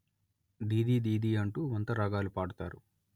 దీదీ దీదీ అంటూ వంతరాగాలు పాడుతారు